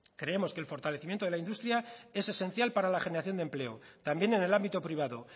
creemos que el fortalecimiento de la industria es esencial para la generación de empleo también en el ámbito privado